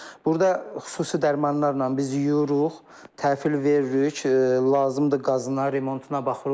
Burda xüsusi dərmanlarla biz yuyuruq, təhvil veririk, lazımdır qazına, remontuna baxırıq.